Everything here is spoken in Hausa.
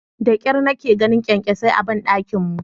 Da kyar nake ganin kyankyasai a bandakin mu.